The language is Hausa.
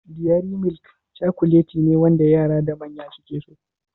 Diyari milik cakulet ne wanda yara da manya suke so